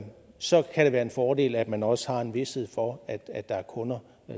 så kan det være en fordel at man også har en vished for at der er kunder